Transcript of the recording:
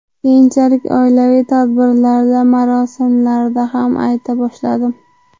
Keyinchalik oilaviy tadbirlarda, marosimlarda ham ayta boshladim.